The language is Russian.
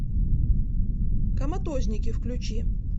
коматозники включи